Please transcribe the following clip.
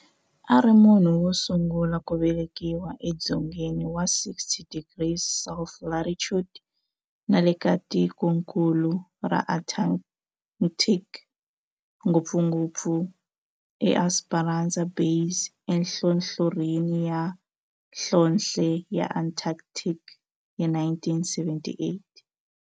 A ri munhu wosungula ku velekiwa e dzongeni wa 60 degrees south latitude nale ka tikonkulu ra Antarctic, ngopfungopfu eEsperanza Base enhlohlorhini ya nhlonhle ya Antarctic hi 1978.